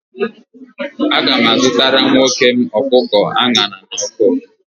Aga m azụtara nwoke m ọkụkọ a ṅara n'ọkụ